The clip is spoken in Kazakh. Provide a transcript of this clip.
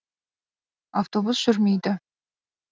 автобус жүрмейді